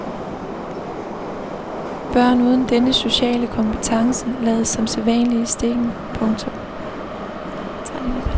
Børn uden denne sociale kompetence lades som sædvanlig i stikken. punktum